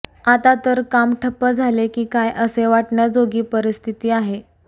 आता तर काम ठप्प झाले की काय असे वाटण्याजोगी परिस्थिती आहे